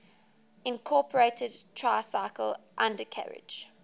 incorporated tricycle undercarriage